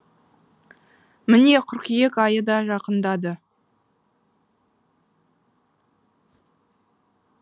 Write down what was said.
міне қыркүйек айы да жақындады